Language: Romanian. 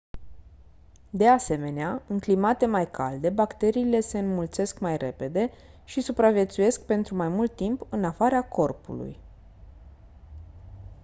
de asemenea în climate mai calde bacteriile se înmulțesc mai repede și supraviețuiesc pentru mai mult timp în afara corpului